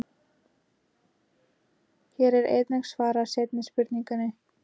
Hér er einungis svarað seinni spurningunni.